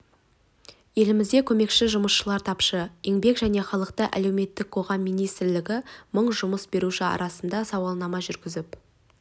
елімізде көмекші жұмысшылар тапшы еңбек және халықты әлеуметтік қорғау министрлігі мың жұмыс беруші арасында сауалнама жүргізіп